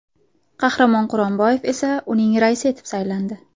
Qahramon Quronboyev esa uning raisi etib saylandi .